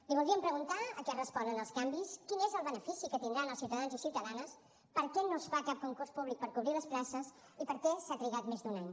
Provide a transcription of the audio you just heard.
li voldríem preguntar a què responen els canvis quin és el benefici que tindran els ciutadans i ciutadanes per què no es fa cap concurs públic per cobrir les places i per què s’ha trigat més d’un any